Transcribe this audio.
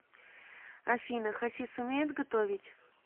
афина хасис умеет готовить